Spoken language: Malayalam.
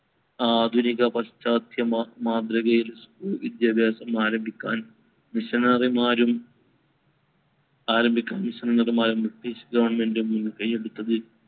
ആധുനിക പശ്ചാത്യ മാ~ മാതൃകയിൽ school വിദ്യാഭ്യാസം ആരംഭിക്കാൻ missionary മാരും ആരംഭിക്കാൻ missionary മാരും ബ്രിട്ടീഷ് government ഉം മുൻകൈ എടുത്തത്.